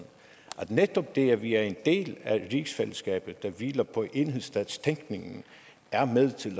at netop det at vi er en del af rigsfællesskabet der hviler på enhedsstatstænkningen er med til